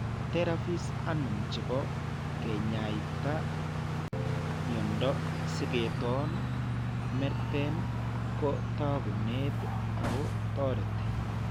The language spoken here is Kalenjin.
Therapies anum chebo kanyaayetaav myondap Singeton merten ko taakunet ak toreti.